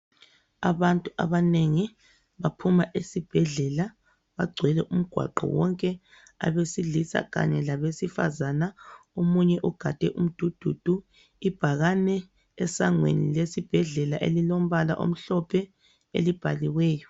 Abantu abanengi baphuma esibhedlela bagcwele umgwaqo wonke abesilisa kanye labesifazana omunye ugade umdududu ibhakane esangweni lesibhedlela elilombala omhlophe elibhaliweyo.